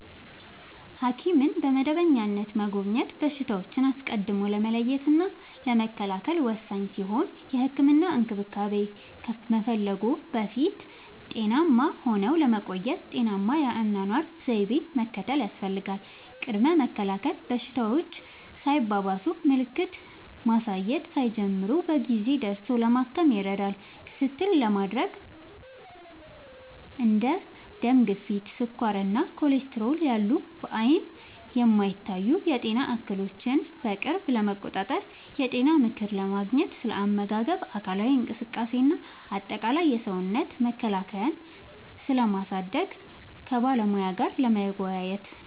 ሐኪምን በመደበኛነት መጎብኘት በሽታዎችን አስቀድሞ ለመለየትና ለመከላከል ወሳኝ ሲሆን፥ የህክምና እንክብካቤ ከመፈለግዎ በፊት ጤናማ ሆነው ለመቆየት ጤናማ የአኗኗር ዘይቤን መከተል ያስፈልጋል። ቅድመ መከላከል፦ በሽታዎች ሳይባባሱና ምልክት ማሳየት ሳይጀምሩ በጊዜ ደርሶ ለማከም ይረዳል። ክትትል ለማድረግ፦ እንደ ደም ግፊት፣ ስኳር እና ኮሌስትሮል ያሉ በዓይን የማይታዩ የጤና እክሎችን በቅርብ ለመቆጣጠር። የጤና ምክር ለማግኘት፦ ስለ አመጋገብ፣ አካላዊ እንቅስቃሴ እና አጠቃላይ የሰውነት መከላከያን ስለማሳደግ ከባለሙያ ጋር ለመወያየት።